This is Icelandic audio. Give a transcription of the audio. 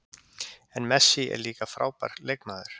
En Messi er líka frábær leikmaður